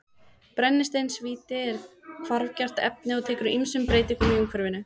Brennisteinstvíildi er hvarfgjarnt efni og tekur ýmsum breytingum í umhverfinu.